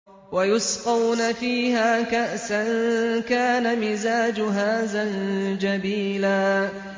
وَيُسْقَوْنَ فِيهَا كَأْسًا كَانَ مِزَاجُهَا زَنجَبِيلًا